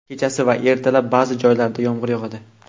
kechasi va ertalab ba’zi joylarda yomg‘ir yog‘adi.